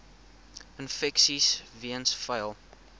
infeksies weens vuil